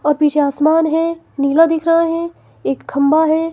और पीछे आसमान है नीला दिख रहा है एक खंबा है।